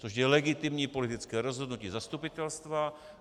To je legitimní politické rozhodnutí zastupitelstva.